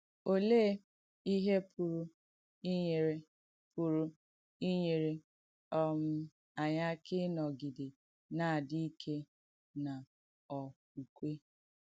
Olèé ìhé pùrù ìnyèrè pùrù ìnyèrè um ànyị̣ àkà ìnọ̀gidè ‘nà-àdì ìkè n’ọ̀kwúkwè’?